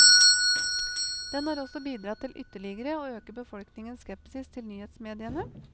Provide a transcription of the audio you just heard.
Den har også bidratt til ytterligere å øke befolkningens skepsis til nyhetsmediene.